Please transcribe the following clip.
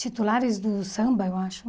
Titulares do samba, eu acho.